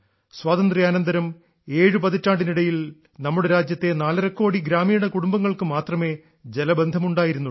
സ്വാതന്ത്ര്യാനന്തരം ഏഴു പതിറ്റാണ്ടിനിടയിൽ നമ്മുടെ രാജ്യത്തെ നാലര കോടി ഗ്രാമീണ കുടുംബങ്ങൾക്ക് മാത്രമേ ജലബന്ധമുണ്ടായിരുന്നുള്ളൂ